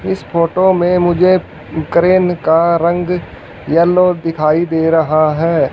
इस फोटो में मुझे क्रेन का रंग येलो दिखाई दे रहा है।